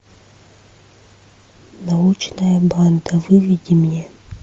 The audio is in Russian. научная банда выведи мне